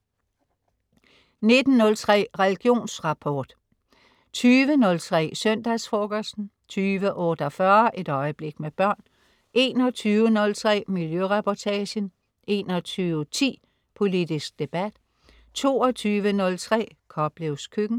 19.03 Religionsrapport* 20.03 Søndagsfrokosten* 20.48 Et øjeblik med børn* 21.03 Miljøreportagen* 21.10 Politisk debat* 22.03 Koplevs Køkken*